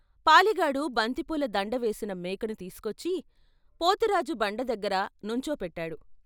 పాలెగాడు బంతిపూల దండ వేసిన మేకను తీసుకొచ్చి పోతురాజు బండ దగ్గర నుంచో పెట్టాడు.